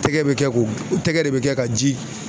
Tɛgɛ be kɛ k'o , tɛgɛ de be kɛ ka ji